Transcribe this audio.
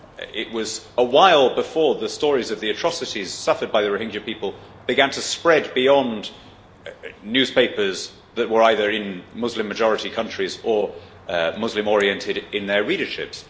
It was a while before the stories of the atrocities suffered by the Rohingya people began to spread beyond newspapers that were either in Muslim majority countries or Muslim oriented in their readerships.